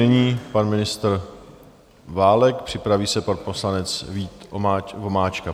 Nyní pan ministr Válek, připraví se pan poslanec Vít Vomáčka.